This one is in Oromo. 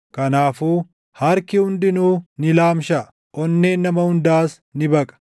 Kanaafuu harki hundinuu ni laamshaʼa; onneen nama hundaas ni baqa.